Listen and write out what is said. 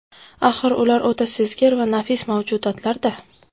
Axir, ular o‘ta sezgir va nafis mavjudotlar-da.